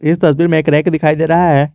इस तस्वीर में एक रैक दिखाई दे रहा है।